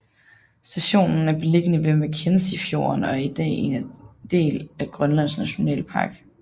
Stationen er beliggende ved Mackenzie fjorden og er i dag er en del af Grønlands Nationalpark